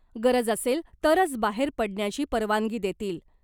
गरज असेल तरच बाहेर पडण्याची परवानगी देतील .